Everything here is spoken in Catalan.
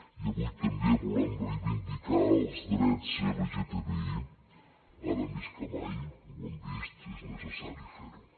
i avui també volem reivindicar els drets lgtbi ara més que mai ho hem vist és necessari fer ho